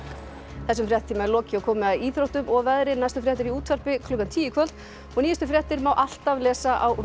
þessum fréttatíma er lokið og komið að íþróttum og veðri næstu fréttir eru í útvarpi klukkan tíu í kvöld og nýjustu fréttir má alltaf lesa á